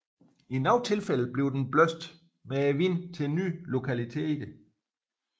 I nogle tilfælde bliver den blæst med vinden til nye lokationer